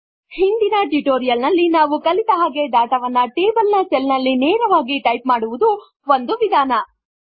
ಹಿಂದಿನ ಟ್ಯುಟೋರಿಯಲ್ ನಲ್ಲಿ ನಾವು ಕಲಿತ ಹಾಗೆ ಡಾಟಾ ವನ್ನು ಟೇಬಲ್ ನ ಸೆಲ್ ನಲ್ಲಿ ನೇರವಾಗಿ ಟೈಪ್ ಮಾಡುವುದು ಒಂದು ವಿಧಾನ